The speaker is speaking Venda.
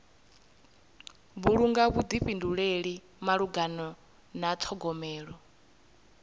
vhulunga vhuḓifhinduleli malugana na ṱhogomelo